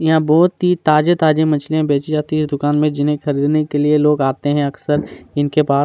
यहाँ बहुत ही ताजे- ताजे मछलियाँ बेचीं जाती है दुकान में जिन्हैं खरीदने के लिए लोग आते है अक्सर इनके पास --